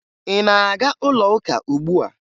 Ị na-aga ụlọuka ugbua?